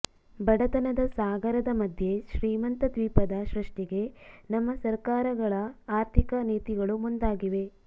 ಬಡತನದ ಸಾಗರದ ಮಧ್ಯೆ ಶ್ರೀಮಂತ ದ್ವೀಪದ ಸೃಷ್ಟಿಗೆ ನಮ್ಮ ಸಕರ್ಾರಗಳ ಆಥರ್ಿಕ ನೀತಿಗಳು ಮುಂದಾಗಿವೆ